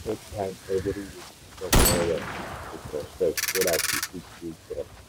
we set time every week to talk well-well with respect so that we go fit build trust.